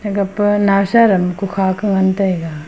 ega pa nawsadam ku kha ka ngan tai ga.